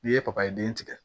N'i ye papaye den tigɛ